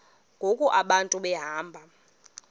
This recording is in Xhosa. ngoku abantu behamba